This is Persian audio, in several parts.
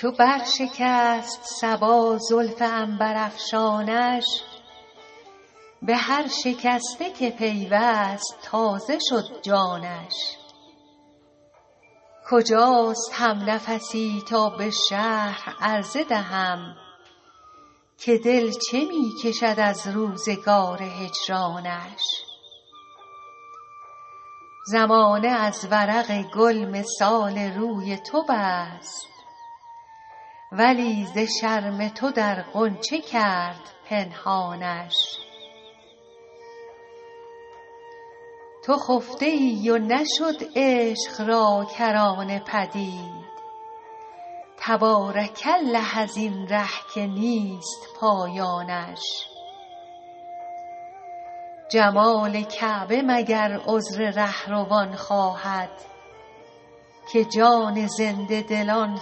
چو بر شکست صبا زلف عنبرافشانش به هر شکسته که پیوست تازه شد جانش کجاست همنفسی تا به شرح عرضه دهم که دل چه می کشد از روزگار هجرانش زمانه از ورق گل مثال روی تو بست ولی ز شرم تو در غنچه کرد پنهانش تو خفته ای و نشد عشق را کرانه پدید تبارک الله از این ره که نیست پایانش جمال کعبه مگر عذر رهروان خواهد که جان زنده دلان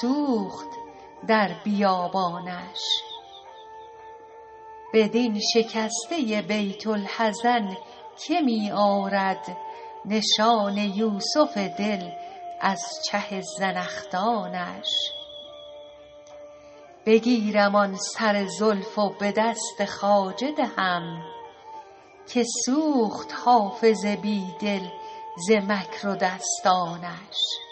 سوخت در بیابانش بدین شکسته بیت الحزن که می آرد نشان یوسف دل از چه زنخدانش بگیرم آن سر زلف و به دست خواجه دهم که سوخت حافظ بی دل ز مکر و دستانش